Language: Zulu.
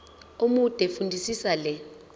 omude fundisisa le